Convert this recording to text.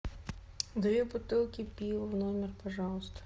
две бутылки пива в номер пожалуйста